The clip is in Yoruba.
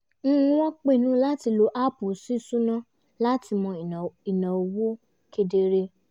n wọ́n pinnu láti lo app sísúná láti mọ ináwó ináwó kedere